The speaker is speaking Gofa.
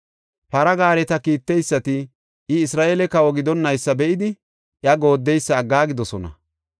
Para gaareta kiitteysati I Isra7eele kawa gidonnaysa be7idi iya gooddeysa aggaagidosona.